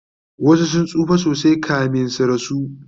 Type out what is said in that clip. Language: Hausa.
wasu sun tsufa sosai kamin su rasu